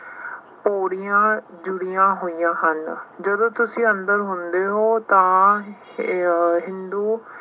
ਪੋੜੀਆਂ ਜੁੜੀਆਂ ਹੋਈਆਂ ਹਨ। ਜਦੋਂ ਤੁਸੀਂ ਅੰਦਰ ਹੁੰਦੇ ਹੋ ਤਾਂ ਅਹ ਹਿੰਦੂ